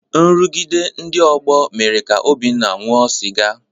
Nrụgide ndị ọgbọ mere ka Obinna ṅụọ sịga.